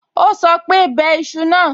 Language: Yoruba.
Ó sọ pé, 'bẹ iṣu náà.'